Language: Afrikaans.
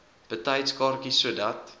betyds kaartjies sodat